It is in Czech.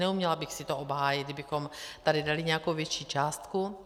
Neuměla bych si to obhájit, kdybychom tady dali nějakou větší částku.